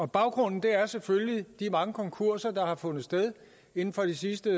baggrunden er selvfølgelig de mange konkurser der har fundet sted inden for de sidste